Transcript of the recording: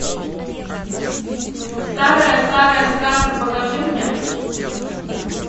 старая старая сказка покажи мне